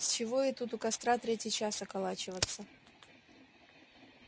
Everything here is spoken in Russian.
с чего ей тут у костра третий час околачиваться